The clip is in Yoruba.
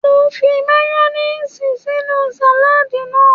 Mo fi mayoníìsì sínú sàládì náà